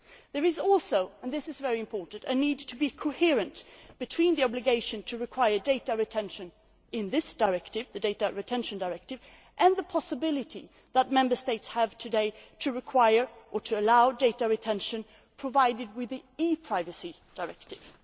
There is also and this is very important a need to be coherent between the obligation to require data retention in this directive the Data Retention Directive and the possibility that Member States have today to require, or to allow, data retention provided with the ePrivacy Directive.